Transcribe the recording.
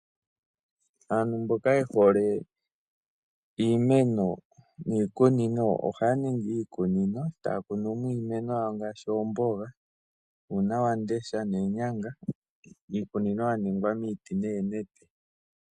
Aantu mboka ye hole iimeno niikunino, ohaya ningi iikunino e taya kunumo iimeno yawo ngaashi oomboga, uunawamundesha noonyanga miikunino ya ningwa miiti noonete.